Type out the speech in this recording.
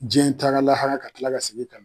Jiyɛn taara lahara ka tila ka segin ka